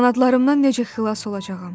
Qanadlarımdan necə xilas olacağam?